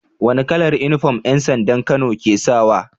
Wani kalar inufom yan sandan kano ke sawa